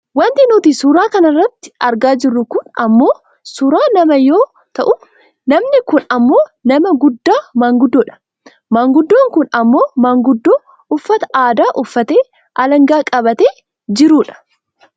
Wanti nuti suuraa kanarratti argaa jirru kun ammoo suuraa nama yoo ta'u namni kun ammoo nama guddaa maanguddoo dha. Maanguddoon kun ammoo maanguddoo uffata aadaa uffatee alangaa qabatee jiru dha.